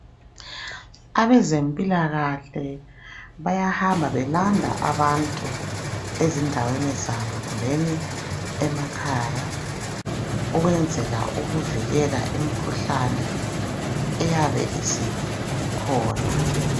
Abezempilakhle bayahamba belanda abantu ezindaweni zabo kumbeni emakhaya ukwenzela ukuvikela imikhuhlane eyabe isikhona.